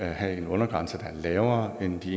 have en undergrænse der er lavere end de